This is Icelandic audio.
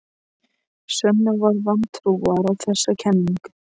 Svenni var vantrúaður á þessa kenningu.